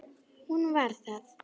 Hún var það.